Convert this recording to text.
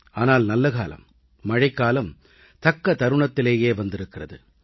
ஆனால் நல்லகாலம் மழைக்காலம் தக்க தருணத்திலேயே வந்திருக்கிறது